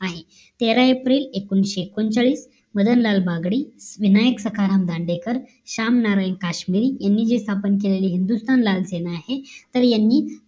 आहे तेरा एप्रिल एकोणाविषे एकोणचाळीस मदनलाल बागडे विनायक सखाराम दांडेकर श्याम नारायण काश्मीर यांनी जे स्थापन केलेली हिंदुस्थान लाल सेना आहे तर यांनी